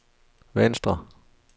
venstre